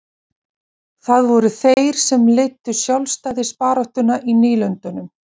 það voru þeir sem leiddu sjálfstæðisbaráttuna í nýlendunum